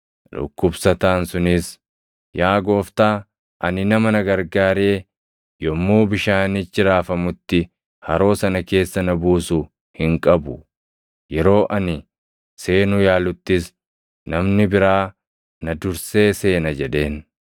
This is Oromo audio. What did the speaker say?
Dhukkubsataan sunis, “Yaa Gooftaa, ani nama na gargaaree yommuu bishaanichi raafamutti haroo sana keessa na buusu hin qabu. Yeroo ani seenuu yaaluttis namni biraa na dursee seena” jedheen.